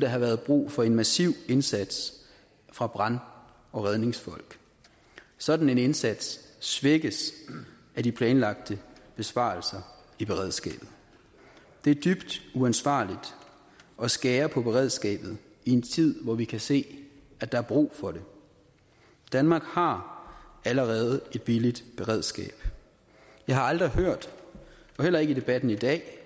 der have været brug for en massiv indsats fra brand og redningsfolk sådan en indsats svækkes af de planlagte besparelser i beredskabet det er dybt uansvarligt at skære på beredskabet i en tid hvor vi kan se at der er brug for det danmark har allerede et billigt beredskab jeg har aldrig hørt og heller ikke i debatten i dag